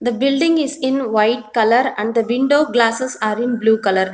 building is in white colour and the window glasses are in blue colour.